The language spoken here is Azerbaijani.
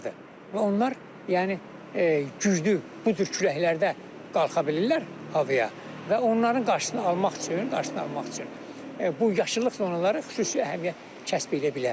Və onlar yəni güclü bu cür küləklərdə qalxa bilirlər havaya və onların qarşısını almaq üçün, qarşısını almaq üçün bu yaşıllıq zonaları xüsusi əhəmiyyət kəsb edə bilər.